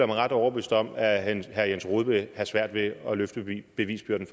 mig ret overbevist om at herre jens rohde vil have svært ved at løfte bevisbyrden